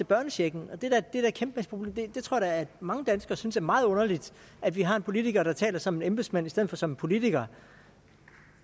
børnechecken jeg tror da at mange danskere synes det er meget underligt at vi har en politiker der taler som en embedsmand i stedet for som en politiker